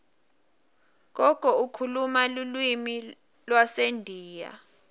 gogo ukhuluma lulwimi lwasendiya